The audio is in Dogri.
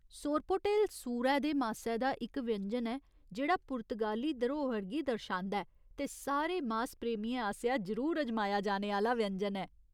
सोरपोटेल सूरै दे मासै दा इक व्यंजन ऐ जेह्ड़ा पुर्तगाली धरोहर गी दर्शांदा ऐ ते सारे मास प्रेमियें आसेआ जरूर अजमाया जाने आह्‌ला व्यंजन ऐ।